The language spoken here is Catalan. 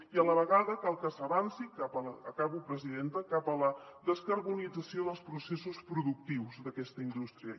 i a la vegada cal que s’avanci acabo presidenta cap a la descarbonització dels processos productius d’aquesta indústria